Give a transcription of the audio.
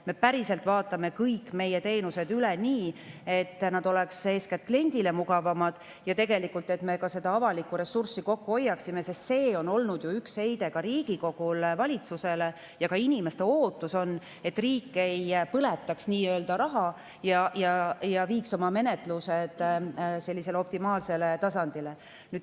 Me vaatame üle kõik meie teenused, et nad oleks eeskätt kliendile mugavad ja et me ka avalikku ressurssi kokku hoiaksime, sest see on olnud ju üks Riigikogu etteheide valitsusele ja ka inimeste ootus on, et riik nii-öelda ei põletaks raha ja viiks oma menetlused optimaalsele tasandile.